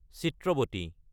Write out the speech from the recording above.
Chitravathi